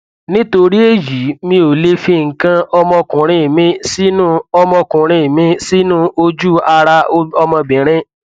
nítorí èyí mi ò lè fi nǹkan ọmọkuùnrin mi sínú ọmọkuùnrin mi sínú ojú ara ọmọbìnrin